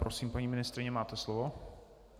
Prosím, paní ministryně, máte slovo.